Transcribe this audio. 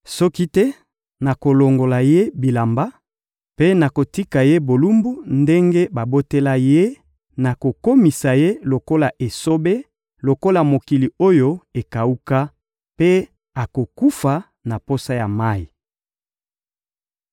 Soki te, nakolongola ye bilamba mpe nakotika ye bolumbu ndenge babotela ye, nakokomisa ye lokola esobe, lokola mokili oyo ekawuka; mpe akokufa na posa ya mayi.